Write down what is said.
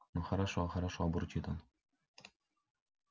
ну хорошо хорошо бурчит он